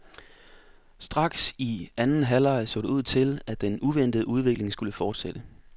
Straks i anden halvleg så det ud til, at den uventede udvikling skulle fortsætte.